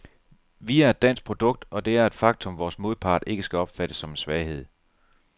Vi er et dansk produkt, og det er et faktum, vores modpart ikke skal opfatte som en svaghed.